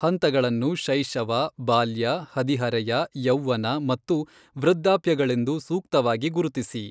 ಹಂತಗಳನ್ನು ಶೈಶವ ಬಾಲ್ಯ ಹದಿಹರೆಯ ಯೌವ್ವನ ಮತ್ತು ವೃದ್ಧಾಪ್ಯಗಳೆಂದು ಸೂಕ್ತವಾಗಿ ಗುರುತಿಸಿ.